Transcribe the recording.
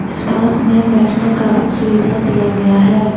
इस पार्क में बैठने का भी सुविधा दिया गया है।